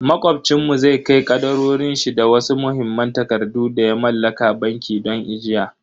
Macobcin mu zai kai kadarorin shi da wasu muhimman takardu da ya mallaka banki don ajiya.